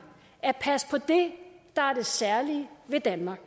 at passe på det der er det særlige ved danmark